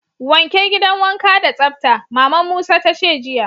Wanke gidan wanka da tsabta! Mama'n Musa ta ce jiya.